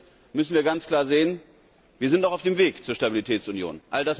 Hier müssen wir ganz klar sehen Wir sind noch auf dem Weg zur Stabilitätsunion.